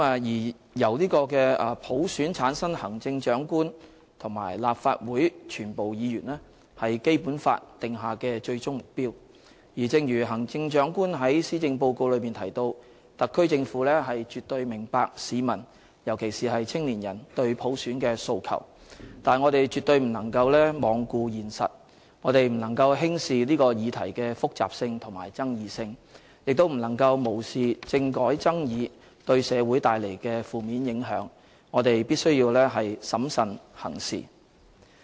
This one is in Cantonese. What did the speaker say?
由普選產生行政長官和立法會全部議員，是《基本法》訂下的最終目標，正如行政長官在施政報告中提到："特區政府絕對明白市民，尤其是青年人，對普選的訴求"，但我們絕對不能罔顧現實、不能輕視這個議題的複雜性和爭議性，亦不能無視政改爭議對社會帶來的負面影響，我們必須審慎行事。